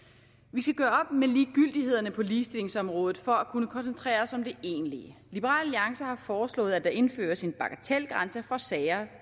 vi skal gøre med ligegyldighederne på ligestillingsområdet for at kunne koncentrere os om det egentlige liberal alliance har foreslået at der indføres en bagatelgrænse for sager